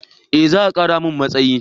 Eh za a kara mun matsayi